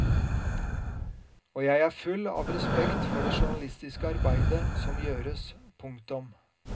Og jeg er full av respekt for det journalistiske arbeidet som gjøres. punktum